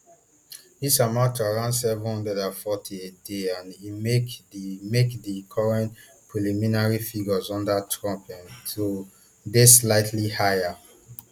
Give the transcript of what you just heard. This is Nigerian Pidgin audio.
dis amount to around seven hundred and forty a day and e make di make di current preliminary figures under trump um to dey slightly higher